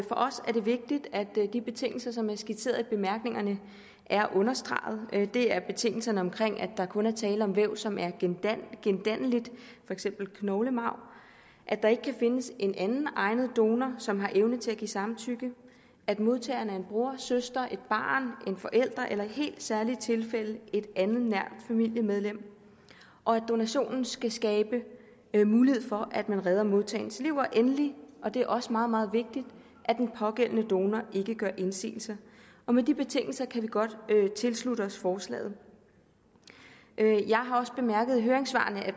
for os er det vigtigt at de betingelser som er skitseret i bemærkningerne er understreget det er betingelserne om at der kun er tale om væv som er gendanneligt for eksempel knoglemarv at der ikke kan findes en anden egnet donor som har evne til at give samtykke at modtageren er en bror søster barn forælder eller i helt særlige tilfælde et andet nært familiemedlem og at donationen skal skabe mulighed for at man redder modtagerens liv og endelig og det er også meget meget vigtigt at den pågældende donor ikke gør indsigelse med de betingelser kan vi godt tilslutte os forslaget jeg har også bemærket i høringssvarene at